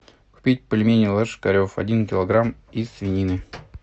купить пельмени ложкарев один килограмм из свинины